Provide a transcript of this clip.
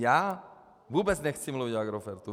Já vůbec nechci mluvit o Agrofertu.